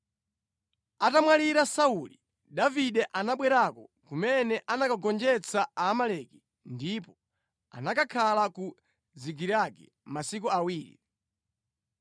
Atamwalira Sauli, Davide anabwerako kumene anakagonjetsa Aamaleki ndipo anakakhala ku Zikilagi masiku awiri.